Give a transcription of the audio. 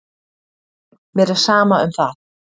Mér er sama um það.